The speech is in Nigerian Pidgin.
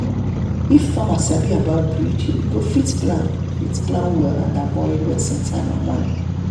if farmer sabi about breed e go fit plan fit plan well and avoid wasting time and money.